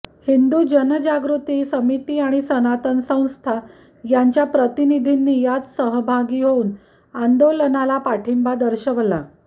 हिंदु जनजागृती समिती आणि सनातन संस्था यांच्या प्रतिनिधींनी यात सहभागी होऊन आंदोलनाला पाठिंबा दर्शवला